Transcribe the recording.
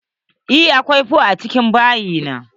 Eh, akwai fonfo a cikin bayi na.